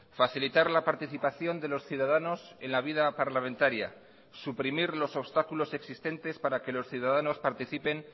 facilitar la participación de los ciudadanos en la vida parlamentaria suprimir los obstáculos existentes para que los ciudadanos participen